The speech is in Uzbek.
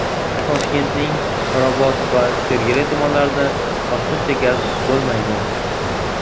Toshkentning Mirobod va Sergeli tumanlarida vaqtincha gaz bo‘lmaydi.